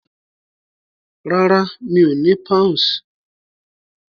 Rárá, mi ò ní Pounds.